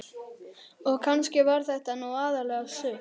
Og kannski var þetta nú aðallega sukk.